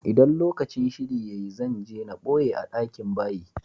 ldan lokacin shiri ya yi, zan je n boye a dakin bayi.